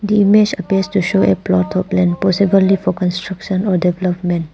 The image applies to show a plot of land possibly for construction or development.